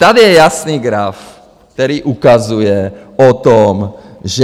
Tady je jasný graf, který ukazuje na to, že...